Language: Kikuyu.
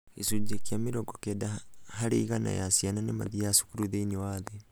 gĩcunjĩ kĩa mĩrongo kenda harĩ igana ya ciana nĩmathiaga cukuru thĩinĩ wa thĩ.